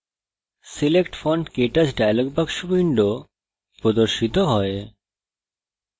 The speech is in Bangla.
select fontktouch dialog box window প্রদর্শিত করে